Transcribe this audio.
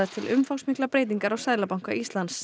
til umfangsmiklar breytingar á Seðlabanka Íslands